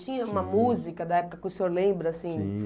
Tinha uma música da época que o senhor lembra, assim? Tinha.